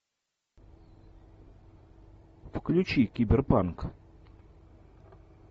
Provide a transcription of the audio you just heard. включи киберпанк